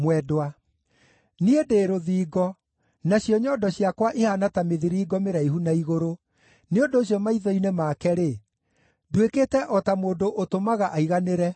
Niĩ ndĩ rũthingo, nacio nyondo ciakwa ihaana ta mĩthiringo mĩraihu na igũrũ. Nĩ ũndũ ũcio maitho-inĩ make-rĩ, nduĩkĩte o ta mũndũ ũtũmaga aiganĩre.